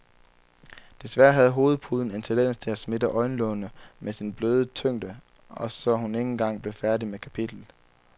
Desværre havde hovedpuden en tendens til at smitte øjenlågene med sin bløde tyngde, og så hun ikke engang blev færdig med kapitlet.